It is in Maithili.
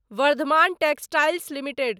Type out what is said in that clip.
Varthaman textiles limited